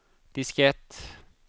diskett